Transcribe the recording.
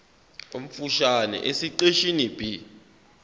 omfushane esiqeshini b